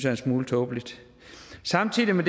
en smule tåbeligt samtidig med